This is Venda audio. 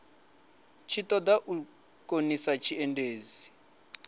tshi ṱoḓa u khonisa tshiendisi